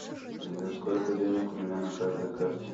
сбер сколько денег у меня на каждой карте